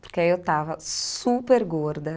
Porque aí eu estava super gorda.